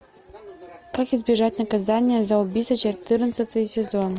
как избежать наказания за убийство четырнадцатый сезон